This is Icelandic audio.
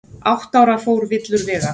Átta ára fór villur vega